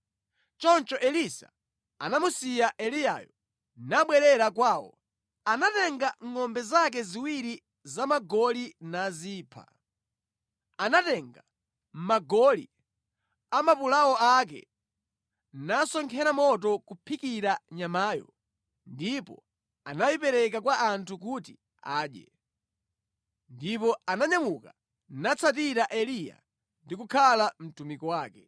Choncho Elisa anamusiya Eliyayo nabwerera kwawo. Anatenga ngʼombe zake ziwiri zapagoli nazipha. Anatenga magoli a mapulawo ake nasonkhera moto kuphikira nyamayo ndipo anayipereka kwa anthu kuti adye. Ndipo ananyamuka natsatira Eliya ndi kukhala mtumiki wake.